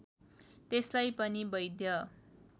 त्यसलाई पनि वैध